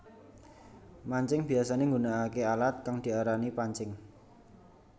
Mancing biyasané nggunakaké alat kang diarani pancing